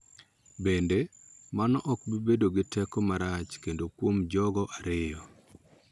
Bende, mano ok bi bedo gi teko marach kende kuom jogo ariyo .